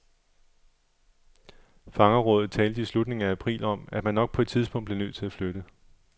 Fangerrådet talte i slutningen af april om, at man nok på et tidspunkt blev nødt til at flytte.